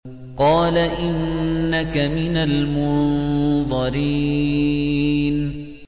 قَالَ إِنَّكَ مِنَ الْمُنظَرِينَ